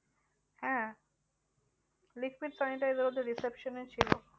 হ্যাঁ liquid sanitizer ওদের reception এ ছিল।